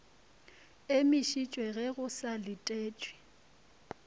emišitšwe ge go sa letetšwe